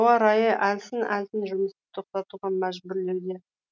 қолайсыз ауа райы әлсін әлсін жұмысты тоқтатуға мәжбүрлеуде